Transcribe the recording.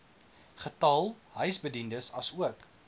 getal huisbediendes asook